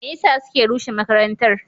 Me yasa suke rusa makarantar?